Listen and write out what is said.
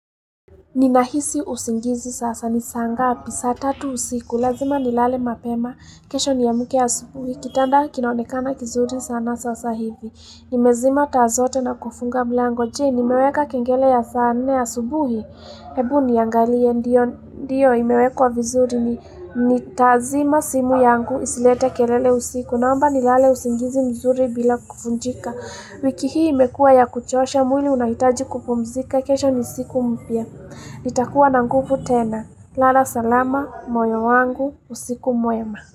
Ninahisi usingizi sasa ni saa ngapi saa tatu usiku lazima nilale mapema kesho niamke asubuhi kitanda kinaonekana kizuri sana sasa hivi nimezima taa zote na kufunga mlango jee nimeweka kengele ya saa nne asubuhi Hebu niangalie ndio imewekwa vizuri nitazima simu yangu isilete kelele usiku naomba nilale usingizi mzuri bila kuvunjika wiki hii imekua ya kuchosha mwili unahitaji kupumzika kesho ni siku mpya. Nitakuwa na nguvu tena. Lala salama, moyo wangu, usiku mwema.